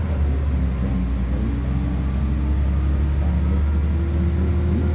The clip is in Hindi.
और इस फोटो में कई सारा पानी और कई सारे पेड़-पौधे भी--